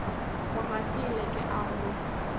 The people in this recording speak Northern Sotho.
go ratile ke a go